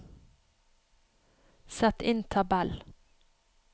Sett inn tabell